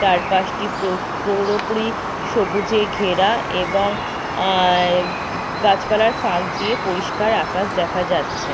চার পাশটি পৌরপুরি সবুজে ঘেরা এবং এ- গাছপালার ফাঁক দিয়ে পরিষ্কার আকাশ দেখা যাচ্ছে।